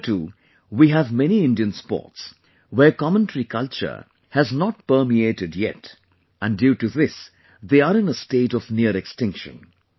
Here too, we have many Indian sports, where commentary culture has not permeated yet and due to this they are in a state of near extinction